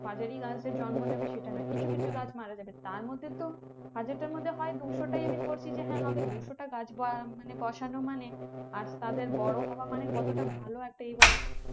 হাজারী গাছ যে জন্ম নেবে সেটা না কিছু কিছু গাছ মারা যাবে তার মধ্যে তো হাজারটার মধ্যে হয় দুশোটাই আমি ধরছি যে হ্যাঁ হবে দুশোটা গাছ বা বসানো মানে আর তাদের বড়ো হওয়া মানে কতটা ভালো একটা এ বলতো